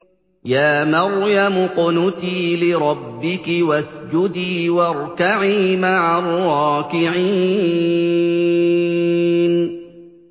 يَا مَرْيَمُ اقْنُتِي لِرَبِّكِ وَاسْجُدِي وَارْكَعِي مَعَ الرَّاكِعِينَ